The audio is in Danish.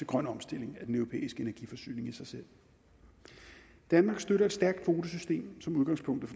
grøn omstilling af den europæiske energiforsyning danmark støtter et stærkt kvotesystem som udgangspunkt